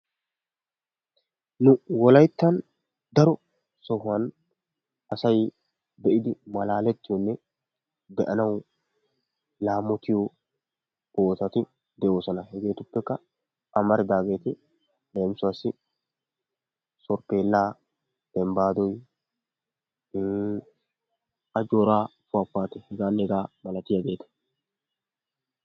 nu wolayttan daro sohuwan asay be'idi malaletiyo asay be'ana lamotiyo bootati hegeetuppekka amaridaageeti leemisuwassi sorpheelaa soolaniya ajooraa puwapuwatiya hegeetanne hegeeta milattiyageeta.